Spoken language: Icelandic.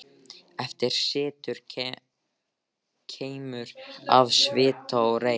Eftir situr keimur af svita og reyk.